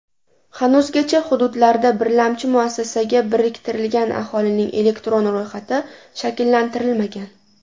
Hanuzgacha hududlarda birlamchi muassasaga biriktirilgan aholining elektron ro‘yxati shakllantirilmagan.